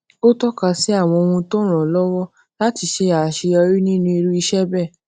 ó toka àwọn ohun tó ràn án lówó láti ṣe aseyori ninu irú iṣé béè